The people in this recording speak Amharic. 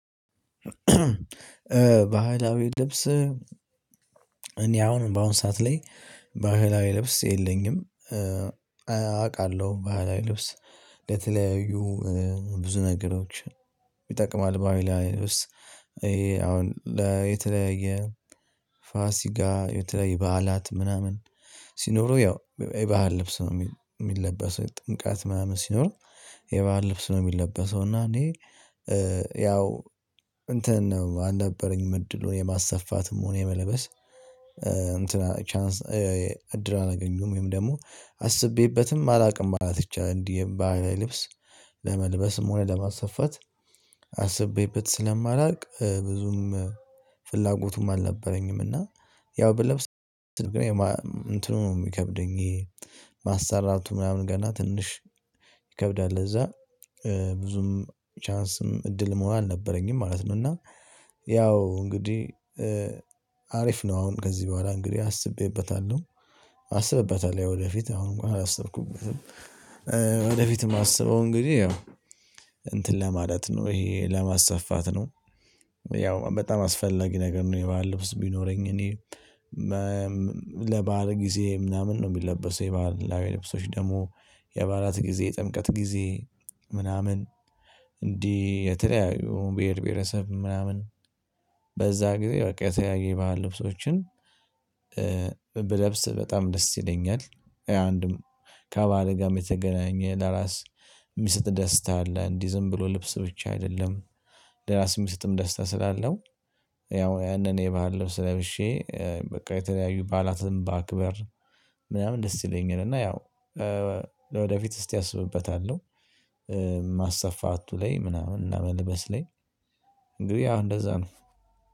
ባህላዊ ልብስ እኔ አሁን በአሁን ሰዓት ላይ ባህላዊ ልብስ የለኝም። አውቃለሁ ባህላዊ ልብስ ለተለያዩ ብዙ ነገሮች ይጠቅማል ባህላዊ ልብስ። ይሄ አሁን ለተለያየ ፋሲካ የተለየ በዓላት ምናምን ሲኖረው ያው የባህል ልብስ ነው የሚለበሰው ጥምቀት ምናምን ሲኖር የባህል ልብስ ነው ሚለበሰው። እና እኔ ያው እንትን ነው አልነበረኝም እድሉን የማሰፋትም ሆነ የመለበስ እንትን ቻንስ እድል አላገኙም ወይም ደግሞ አስቤበትም አላውቅም ማለት ይቻላል። እንዲህ የባህል ልብስ ለመልበስም ሆነ ለማስፈት አስቤበት ስለማላውቅ ብዙም ፍላጎቱም አልነበረኝም። እና ያው ብለብስ እንትኑም ይከብደኝ ማሰራቱ ምናምን ገና ትንሽ ይከብዳል እዛ ብዙም ቻንስም እድሉም አልነበረኝም ማለት ነው። እና ያው እንግዲህ አሪፍ ነው። አሁን ከዚህ በኋላ እንግዲህ አስቤበታለሁ አስብበታለሁ ለወደፊት አሁን እንኳን አላሰብኩም። ወደፊትም ማሰበው እንግዲህ ያው እንትን ለማለት ነው። ይሄ ለማሰፋት ነው ያው በጣም አስፈላጊ ነገር ነው። የባህል ልብስ ቢኖረኝ እኔ ለባህር ጊዜ ምናምን ነው የሚለበሰው የባህላዊ ልብሶች ደግሞ የባህላት ጊዜ ጥምቀት ጊዜ ምናምን እንዲህ የተለያዩ ብሄር ብሄረሰብ ምናምን በዛ ጊዜ በቃ የተያየ ባህል ልብሶችን ብለብስ በጣም ደስ ይለኛል። አንድም ከባህል ጋር የተገናኘ ለራስ የሚሰጥ ደስታ አለ። እንዲህ ዝም ብሎ ልብስ ብቻ አይደለም። ለራስ የሚሰጥም ደስታ ስላለው ያው ያንን የባህል ልብስ ለብሼ በቃ የተለያዩ በዓላትም በአክበር ምናምን ደስ ይለኛል። እና ያው ለወደፊት እስቲ አስብበታለሁ ማሰፋቱ ላይ ምናምን እና መልበስ ላይ እንግዲህ አሁን እንደዛ ነው